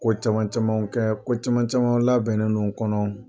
Ko caman camanw kɛ ko caman caman labɛnnen n'u kɔnɔ.